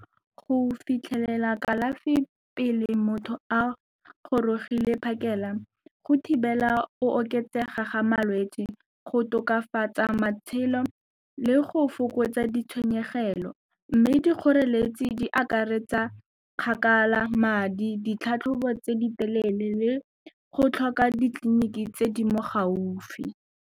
Go fitlhelela kalafi pele motho a gorogile phakela go thibela go oketsega ga malwetse, go tokafatsa matshelo le go fokotsa ditshenyegelo mme dikgoreletsi di akaretsa kgakala, madi, ditlhatlhobo tse di telele le go tlhoka ditleliniki tse di mo gaufi.